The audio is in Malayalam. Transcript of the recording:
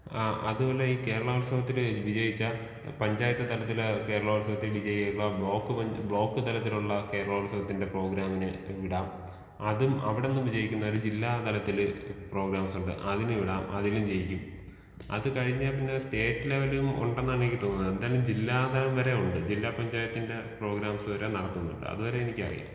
ആ അതുപോലെ ഈ കേരള ഉത്സവത്തിന് വിജയിച്ച പഞ്ചായത്ത് തലത്തിൽ കേരള ഉത്സവത്തിലെ വിജയികളെ ബ്ലോക്ക് പഞ്ചാ ബ്ലോക്ക് തരത്തിലുള്ള കേരള ഉത്സവത്തിന്റെ പ്രോഗ്രാമിന് വിടാം. അതും അവിടുന്ന് വിജയിക്കുന്നവരെ ജില്ലാതലത്തിൽ പ്രോഗ്രാംസ് ഉണ്ട് അതിന് വിടാം. അതിലും ജയിക്കും. അത് കഴിഞ്ഞാ പിന്നെ സ്റ്റേറ്റ് ലെവലും ഉണ്ടെന്നാണ് എനിക്ക് തോന്നുന്നത്. എന്തായാലും ജില്ലാ തരംവരെ ഉണ്ട്. ജില്ലാ പഞ്ചായത്തിന്റെ പ്രോഗ്രാംസ് വരെ നടത്തുന്നുണ്ട്. അതുവരെ എനിക്കറിയാം.